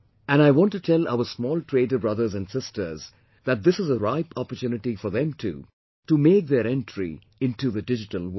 And, I want to tell our small trader brothers and sisters that this is a ripe opportunity for them too to make their entry into the digital world